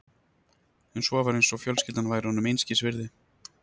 En svo var eins og fjölskyldan væri honum einskis virði.